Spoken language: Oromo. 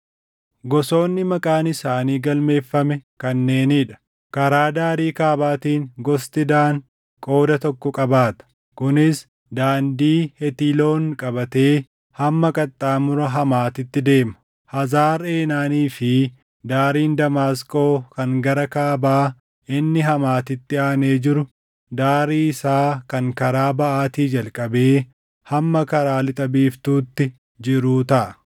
“Gosoonni maqaan isaanii galmeeffame kanneenii dha: “Karaa daarii kaabaatiin gosti Daan qooda tokko qabaata; kunis daandii Hetiloon qabatee hamma qaxxaamura Hamaatitti deema; Hazar Eenaanii fi daariin Damaasqoo kan gara kaabaa inni Hamaatitti aanee jiru daarii isaa kan karaa baʼaatii jalqabee hamma karaa lixa biiftuutti jiruu taʼa.